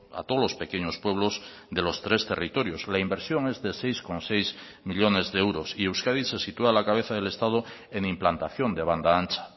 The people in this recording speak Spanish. a todos los pequeños pueblos de los tres territorios la inversión es de seis coma seis millónes de euros y euskadi se sitúa a la cabeza del estado en implantación de banda ancha